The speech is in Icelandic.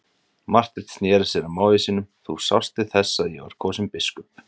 Marteinn sneri sér að mági sínum:-Þú sást til þess að ég var kosinn biskup.